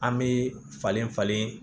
An bɛ falen falen